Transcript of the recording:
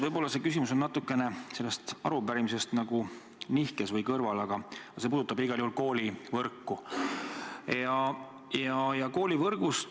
Võib-olla see küsimus on natukene selle arupärimise teemast kõrval, aga see puudutab igal juhul koolivõrku.